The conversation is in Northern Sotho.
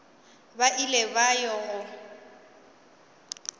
ba ile ba ya go